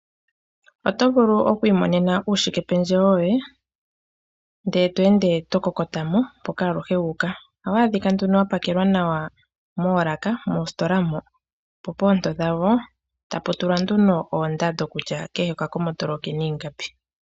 Otovulu oku imonena uushike pendjewo woye ndele tweende to kokota mo mpoka aluhe wuuka. Ohawaadhika nduno wa pakelwa nawa moolaka moositola mo po poonto dhawo . Tapu tulwa nduno oondando kutya kehe oka komotolo okena ingapi.